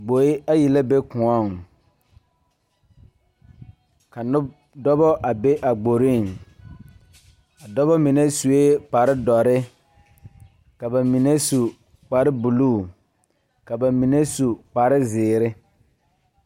Gboe ayi la be koɔŋ ka noba dɔba a be a gboriŋ dɔba mine sue kparedɔre ka ba mine su kparebulu ka ba mine su kparezeere.